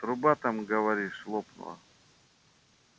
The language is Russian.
труба там говоришь лопнула